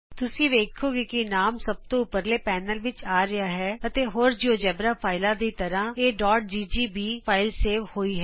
ਤੁਸੀਂ ਵੇਖੋਗੇ ਕਿ ਨਾਮ ਸਭ ਤੋਂ ਉਪਰਲੇ ਪੈਨਲ ਵਿਚ ਆ ਰਿਹਾ ਹੈ ਅਤੇ ਹੋਰ ਜਿਉਜੇਬਰਾ ਫਾਈਲਾ ਦੀ ਤਰ੍ਹਾਂ ਇਹ dot GGB GGB file save ਹੋਈ ਹੈ